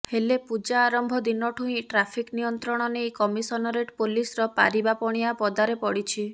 ହେଲେ ପୂଜା ଆରମ୍ଭ ଦିନଠୁ ହିଁ ଟ୍ରାଫିକ୍ ନିୟନ୍ତ୍ରଣ ନେଇ କମିଶନରେଟ୍ ପୋଲିସର ପାରିବା ପଣିଆ ପଦାରେ ପଡ଼ିଛି